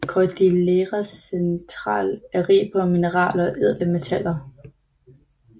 Cordillera Central er rig på mineraler og ædle metaller